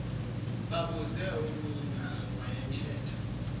babuze umeana owayethe